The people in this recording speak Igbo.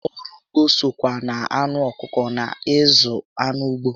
Ọrụ ugbo sokwa na anụ ọkụkọ na ịzụ anụ ụgbọ